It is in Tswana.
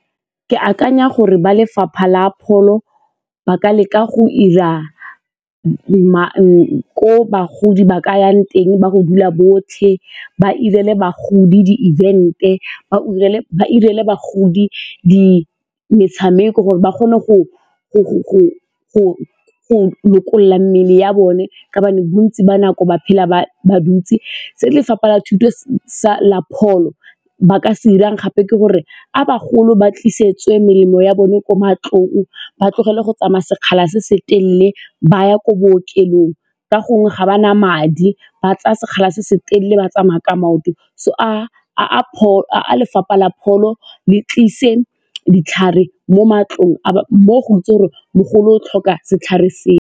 Ke akanya gore ba lefapha la pholo ba ka leka go 'ira ko bagodi ba ka yang teng ba go dula botlhe, ba 'irele bagodi di-event-e, ba 'irele bagodi metshameko gore ba kgone go lokolola mmele ya bone ka gobane bontsi ba nako ba phela ba dutse. Se lefapha la pholo ba ka se dirang gape ke gore a bagolo ba tlisetsa nwe melemo ya bone ko matlong ba tlogele go tsamaya sekgala se se telele ba ya ko bookelong ka gongwe ga ba na madi ba tsaya sekgala se se telele ba tsamaya ka maoto so a lefapha la pholo le tlise ditlhare mo matlong a mo go itse gore mogolo o tlhoka setlhare seo.